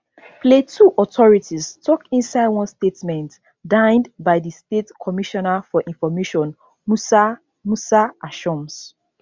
plateau authorities tok inside one statement digned by di state commissioner for information musa musa ashoms